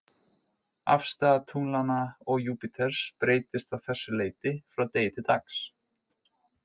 Afstaða tunglanna og Júpíters breytist að þessu leyti frá degi til dags.